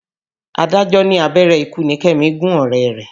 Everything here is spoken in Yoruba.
Adájọ́ ní abẹ́rẹ́ ikú ni Kẹ́mi gún ọ̀rẹ́ rẹ̀.